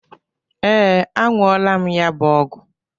Ee, aṅụla m ya bụ ọgwụ.